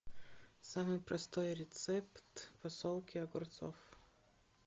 самый простой рецепт засолки огурцов